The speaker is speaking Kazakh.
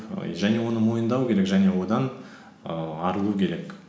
және оны мойындау керек және одан ііі арылу керек